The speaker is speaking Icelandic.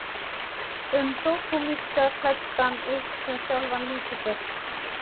um sódómista klæddan upp sem sjálfan Lúsífer.